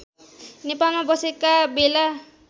नेपालमा बसेका बेला